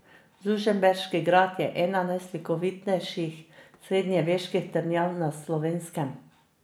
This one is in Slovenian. Žužemberški grad je ena najslikovitejših srednjeveških trdnjav na Slovenskem.